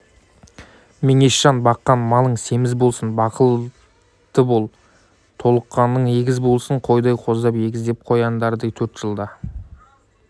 меңешжан баққан малың семіз болсын бақытлы бол толғатқаның егіз болсын қойдай қоздап егіздеп қояндардай төрт жылда